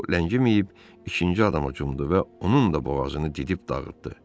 Bu ləngiməyib ikinci adama hücum etdi və onun da boğazını didib dağıtdı.